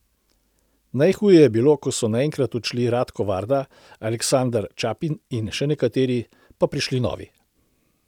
Najhuje je bilo, ko so naenkrat odšli Ratko Varda, Aleksandar Ćapin in še nekateri, pa prišli novi.